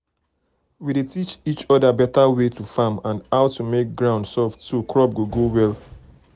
we dey teach um each other better way um to farm and how to make ground soft so crop go grow well.